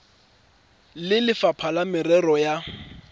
le lefapha la merero ya